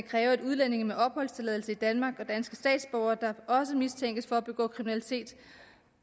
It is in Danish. kræve at udlændinge med opholdstilladelse i danmark og danske statsborgere der også mistænkes for at ville begå kriminalitet